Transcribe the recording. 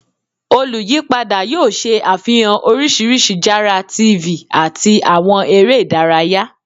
Oluyipada yoo ṣe afihan oriṣiriṣi jara TV ati awọn ere idaraya